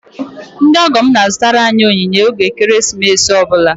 Ndị ọgọ m na-azụtara anyị onyinye oge ekeresimesi ọ bụla